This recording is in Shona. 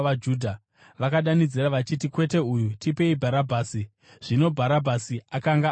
Vakadanidzira vachiti, “Kwete, uyu! Tipei Bharabhasi!” Zvino Bharabhasi akanga ari gororo.